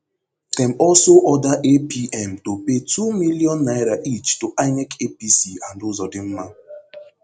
dem also order apm to pay two million naira each to inec apc and uzodinma